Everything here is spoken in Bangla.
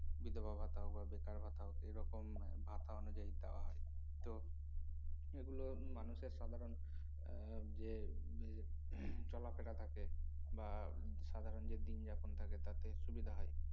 বিধবা ভাতা হোক বা বেকার ভাতা হোক এরকম ভাতা অনুযায়ী দেওয়া হয় তো এগুলো উম মানুষের সাধারন এ যে চলাফেরা থাকে বা সাধারন যে দিনযাপন থাকে তাতে সুবিধা হয়